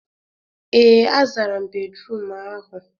Ee, a zara m bédrụum ahụ.